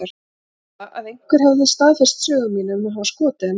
Eða að einhver hefði staðfest sögu mína um að hafa skotið hann með